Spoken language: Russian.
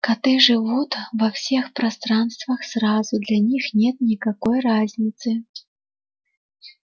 коты живут во всех пространствах сразу для них нет никакой разницы